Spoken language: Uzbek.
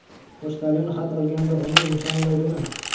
Pochtalyon xat olganda, uni nishonlaydimi?